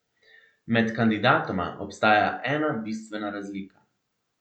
Med kandidatoma obstaja ena bistvena razlika.